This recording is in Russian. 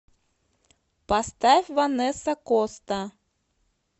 поставь ванесса коста